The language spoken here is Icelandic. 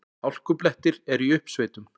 Hálkublettir eru í uppsveitum